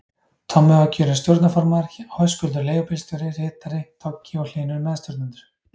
Tommi var kjörinn stjórnarformaður, Höskuldur leigubílstjóri ritari, Toggi og Hlynur meðstjórnendur.